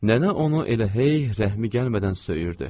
Nənə onu elə hey rəhmi gəlmədən söyürdü.